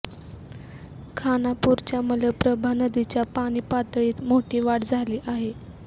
खानापूरच्या मलप्रभा नदीच्या पाणी पातळीत मोठी वाढ झाली आहे